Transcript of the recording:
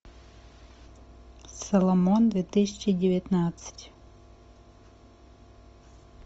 соломон две тысячи девятнадцать